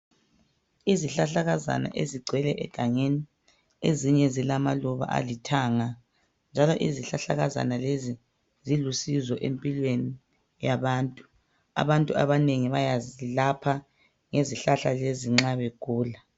Izihlahlakazana ezigcwele egangeni. Ezinye zilamaluba alithanga, njalo izihlahlakazana lezi zillusizo empilweni yabantu.,Abantu abanengi bayazilapha ngezihlahla lezi nxa begula.